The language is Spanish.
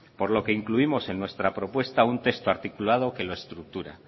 por lo que incluimos en nuestra propuesta un texto articulado que lo estructura